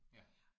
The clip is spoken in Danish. Ja